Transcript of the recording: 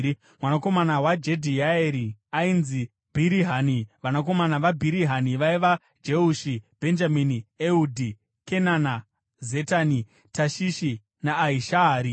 Mwanakomana waJedhiaeri ainzi Bhirihani. Vanakomana vaBhirihani vaiva: Jehushi, Bhenjamini, Ehudhi, Kenana, Zetani, Tashishi naAhishahari.